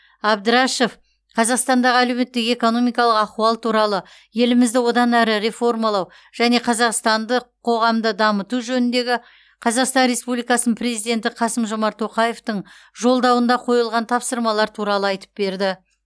әбдрашов қазақстандағы әлеуметтік экономикалық ахуал туралы елімізді одан әрі реформалау және қазақстандық қоғамды дамыту жөніндегі қазақстан республикасы президенті қасым жомарт тоқаевтың жолдауында қойылған тапсырмалар туралы айтып берді